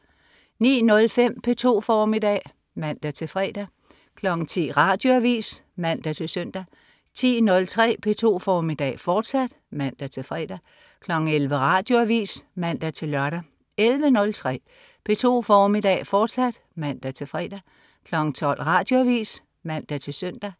09.05 P2 formiddag (man-fre) 10.00 Radioavis (man-søn) 10.03 P2 formiddag, fortsat (man-fre) 11.00 Radioavis (man-lør) 11.03 P2 formiddag, fortsat (man-fre) 12.00 Radioavis (man-søn)